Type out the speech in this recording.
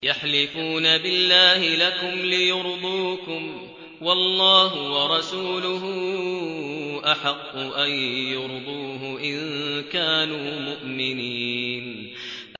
يَحْلِفُونَ بِاللَّهِ لَكُمْ لِيُرْضُوكُمْ وَاللَّهُ وَرَسُولُهُ أَحَقُّ أَن يُرْضُوهُ إِن كَانُوا مُؤْمِنِينَ